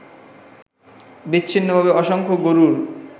বিচ্ছিন্নভাবে অসংখ্য গরুর